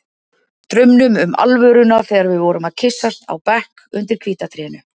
Draumnum um alvöruna þegar við vorum að kyssast á bekk undir hvíta trénu.